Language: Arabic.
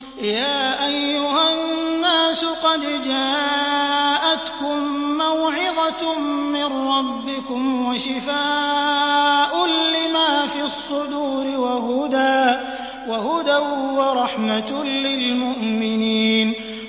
يَا أَيُّهَا النَّاسُ قَدْ جَاءَتْكُم مَّوْعِظَةٌ مِّن رَّبِّكُمْ وَشِفَاءٌ لِّمَا فِي الصُّدُورِ وَهُدًى وَرَحْمَةٌ لِّلْمُؤْمِنِينَ